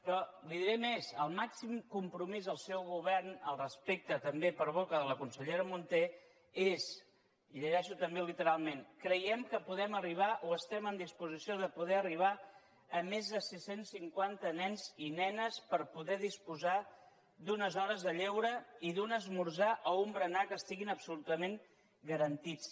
però li diré més el màxim compromís del seu govern al respecte també per boca de la consellera munté és i ho llegeixo també literalment creiem que podem arribar o estem en disposició de poder arribar a més de sis cents i cinquanta nens i nenes per poder disposar d’unes hores de lleure i d’un esmorzar o un berenar que estiguin absolutament garantits